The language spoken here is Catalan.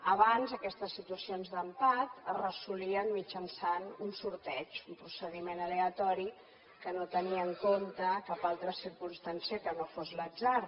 abans aquestes situacions d’empat es resolien mitjançant un sorteig un procediment aleatori que no tenia en compte cap altra circumstància que no fos l’atzar